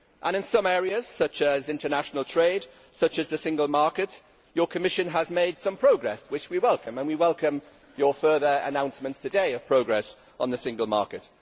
In some areas, such as international trade or the single market, your Commission has made some progress which we welcome, and we welcome your further announcements today of progress on the single market.